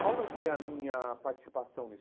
Qual vai ser a minha participação nisso?